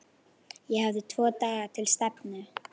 Ég hafði tvo daga til stefnu.